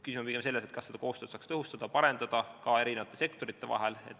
Küsimus on pigem selles, kas koostööd saaks tõhustada ja parendada ka sektorite vahel.